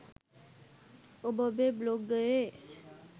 ඔබ ඔබේ බ්ලොගයේ